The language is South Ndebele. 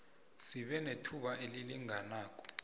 sibe nethuba elilinganako